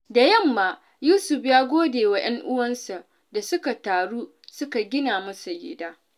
Da yamma, Yusuf ya gode wa ‘yan uwansa da suka taru suka gina masa gida.